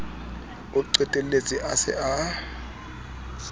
o qetelletse a se a